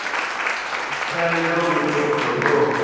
старый добрый просто бро